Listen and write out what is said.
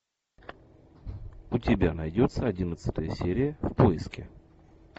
у тебя найдется одиннадцатая серия в поиске